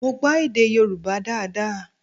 Mo gbọ́ èdè Yoruba daada